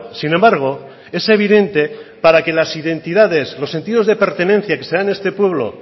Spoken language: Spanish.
sin embargo es evidente para que las identidades los sentidos de pertenencia que se dan en este pueblo